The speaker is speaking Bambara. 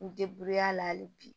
N a la hali bi